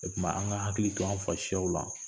O tuma an ka hakili to an fa siyaw la